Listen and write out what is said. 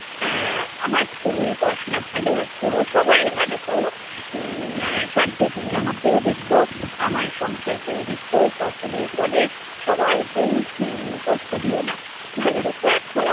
আহ আমার ছেলের পড়াশোনা ভালো কোরো, সবাইয়ের ভালো কোরো উম সাথে তুমি আমাকেও দেখো, আমার সংসারকেও দেখো সকলের ফলে সবাইকেই উম কষ্ট দিও না। ভালো রেখো এখনো